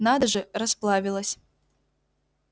надо же расплавилась